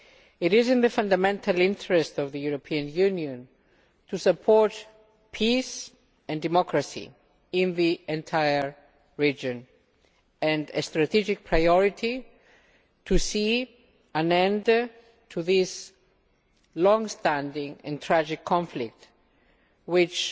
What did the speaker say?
It is in the fundamental interest of the European Union to support peace and democracy in the entire region, and a strategic priority is to see an end to this longstanding and tragic conflict, which